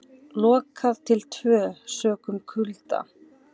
Lokað til tvö sökum kulda